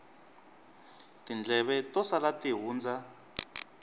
tindleve to sala ti hundza